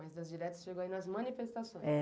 Mas nas diretas chegou aí nas manifestações?